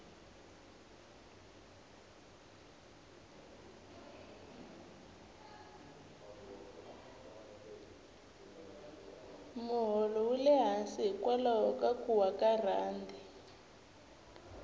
moholo wule hansi hikwalaho ka kuwa ka rhandi